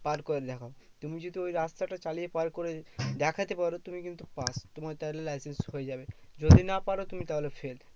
পার করে দেখাও। তুমি যদি ওই রাস্তা চালিয়ে পার করে দেখতে পারো তো তুমি কিন্তু pass. তোমার তাহলে licence হয়ে যাবে। যদি না পারো তুমি তাহলে fail.